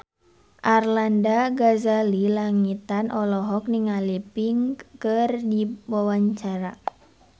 Arlanda Ghazali Langitan olohok ningali Pink keur diwawancara